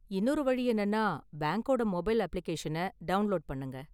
இன்னொரு வழி என்னன்னா, பேங்க்கோட மொபைல் அப்ளிகேஷனை டவுண்லோடு பண்ணுங்க.